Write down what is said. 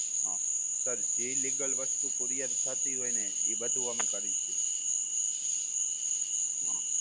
હા હ sir જે legal વસ્તુ courier થતી હોય ને, ઈ બધુ અમે કરીએ છે.